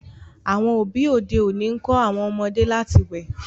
àwọn òbí òde òni nkọ àwọn ọmọdé láti wẹ